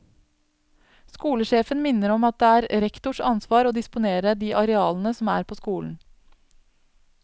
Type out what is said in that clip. Skolesjefen minner om at det er rektors ansvar å disponere de arealene som er på skolen.